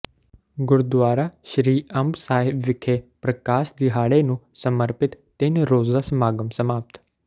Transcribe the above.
ਗੁਰਦੁਆਰਾ ਸ੍ਰੀ ਅੰਬ ਸਾਹਿਬ ਵਿਖੇ ਪ੍ਰਕਾਸ਼ ਦਿਹਾੜੇ ਨੂੰ ਸਮਰਪਿਤ ਤਿੰਨ ਰੋਜ਼ਾ ਸਮਾਗਮ ਸਮਾਪਤ